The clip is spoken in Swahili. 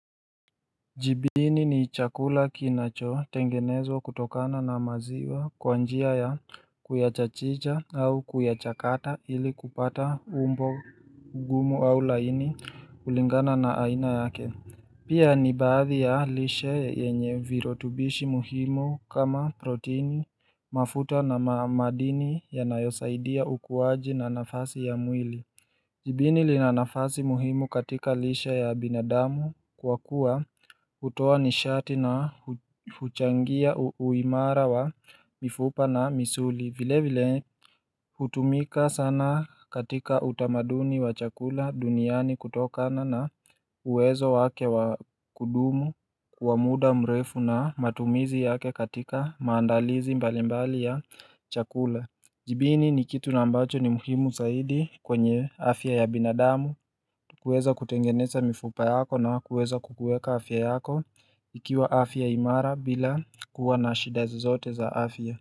Jibini ni chakula kinachotengenezwa kutokana na maziwa kwa njia ya kuyachachicha au kuyachakata ili kupata umbo gumu au laini kulingana na aina yake Pia ni baadhi ya lishe yenye virotubishi muhimu kama protini mafuta na ma madini yanayosaidia ukuwaji na nafasi ya mwili Jibini lina nafasi muhimu katika lishe ya binadamu kwa kuwa hutoa nishati na huchangia uimara wa mifupa na misuli vile vile hutumika sana katika utamaduni wa chakula duniani kutokana na uwezo wake wa kudumu wa muda mrefu na matumizi yake katika maandalizi mbalimbali ya chakula Jibini ni kitu na ambacho ni muhimu zaidi kwenye afya ya binadamu kuweza kutengeneza mifupa yako na kukuweza kukuweka afya yako ikiwa afya imara bila kuwa na shida zozote za afya.